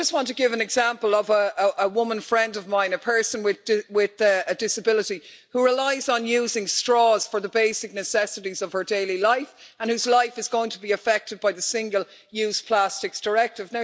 I just want to give an example of a woman friend of mine, a person with a disability, who relies on using straws for the basic necessities of her daily life and whose life is going to be affected by the Single Use Plastics Directive.